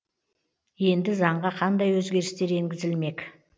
енді заңға қандай өзгерістер енгізілмек